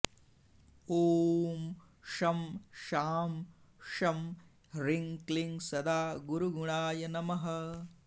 ॐ शं शां षं ह्रीं क्लीं सदा गुरुगुणाय नमः